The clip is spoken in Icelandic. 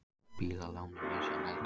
Bílalánin misjafnlega dýr